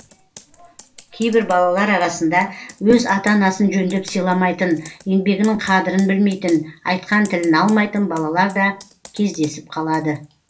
кейбір балалар арасында өз ата анасын жөндеп сыйламайтын еңбегінің қадірін білмейтін айтқан тілін алмайтын балалар да кездесіп қалады